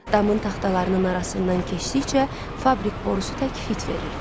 Damın taxtalarının arasından keçdikcə fabrik borusu tək fit verirdi.